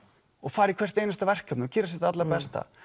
og fara í hvert einasta verkefni og gera sitt allra besta